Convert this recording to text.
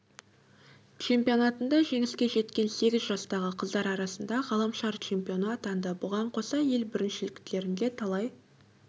чемпионатында жеңіске жеткен сегіз жастағы қыздар арасында ғаламшар чемпионы атанды бұған қоса ел біріншіліктерінде талай